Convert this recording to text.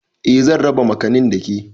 Eh zan raba makanin da ke